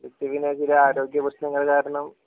ഇക്ക് പിന്നെ ചില ആരോഗ്യ പ്രശ്നങ്ങള് കാരണം